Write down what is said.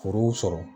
Foro sɔrɔ